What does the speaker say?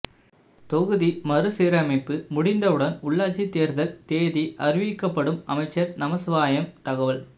தொகுதி மறுசீரமைப்பு முடிந்தவுடன் உள்ளாட்சி தேர்தல் தேதி அறிவிக்கப்படும் அமைச்சர் நமச்சிவாயம் தகவல்